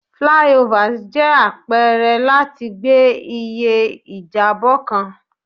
Flyovers jẹ apẹrẹ lati gbe iye ijabọ kan